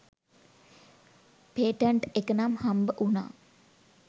Patent එක නම් හම්බ උනා.